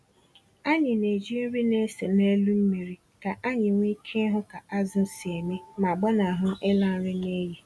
Anyị na-eji nri na-ese n'elu mmiri ka anyị nwee ike ịhụ ka azụ̀ si eme ma gbanahụ ịla nri n'iyi.